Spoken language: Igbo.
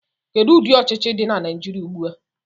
Kedu ụdị ọchịchị dị na Naijiria ugbu a?